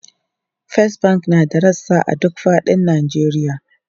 First Bank na da rassa a duk fadin Najeriya.